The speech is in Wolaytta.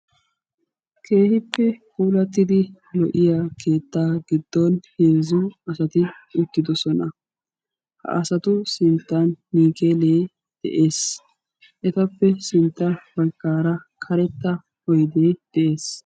Keehippe puulattiddi lo'iya keetta giddon heezzu asatti uttidosonna ha asattu matan miikkelle de'ees.